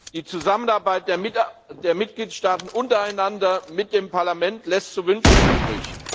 Die Zusammenarbeit der Mitgliedstaaten untereinander und mit dem Parlament lässt zu wünschen übrig.